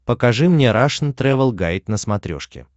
покажи мне рашн тревел гайд на смотрешке